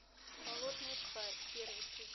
болотная тварь первый сезон